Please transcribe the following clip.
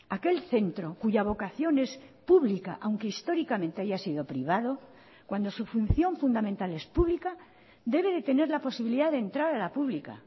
aquel centro cuya vocación es pública aunque históricamente haya sido privado cuando su función fundamental es pública debe de tener la posibilidad de entrar a la pública